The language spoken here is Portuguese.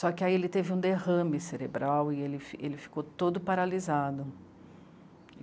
Só que aí ele teve um derrame cerebral e ele fi ele ficou todo paralisado.